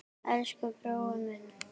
Elsku brói minn.